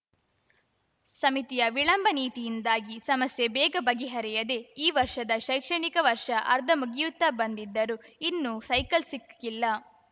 ಸಮಿತಿಯ ವಿಳಂಬ ನೀತಿಯಿಂದಾಗಿ ಸಮಸ್ಯೆ ಬೇಗ ಬಗೆಹರಿಯದೆ ಈ ವರ್ಷದ ಶೈಕ್ಷಣಿಕ ವರ್ಷ ಅರ್ಧ ಮುಗಿಯುತ್ತಾ ಬಂದಿದ್ದರೂ ಇನ್ನೂ ಸೈಕಲ್‌ ಸಿಕ್ಕಿಲ್ಲ